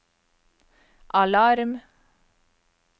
alarm